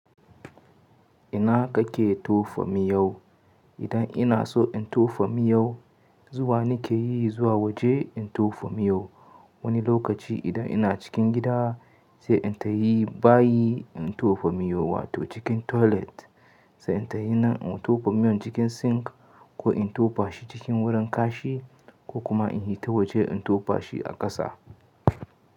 Ina kake tofa miyau? Idan ina so in tofa miyau, zuwa nike yi zuwa waje in tofa miyau. Wani lokaci idan ina cikin gida, sai in tahi bayi in tofa miyo, wato cikin toilet. Sai in tayi nan in tofa miyon cikin sink ko in tofashi cikin wurin kashi, ko kuma in hita waje in tofashi a ƙasa.